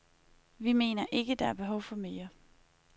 Vi mener ikke, at der er behov for mere.